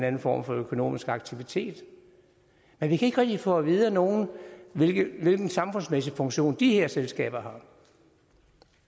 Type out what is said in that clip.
anden form for økonomisk aktivitet men vi kan ikke rigtig få at vide af nogen hvilken samfundsmæssig funktion de her selskaber